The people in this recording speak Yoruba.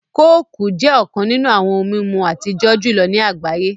Kooku jẹ́ ọ̀kàn nínú awọn ohun mimú atijọ̀ julọ̀ ní agbáyé